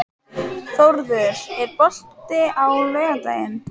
Þórður, er bolti á laugardaginn?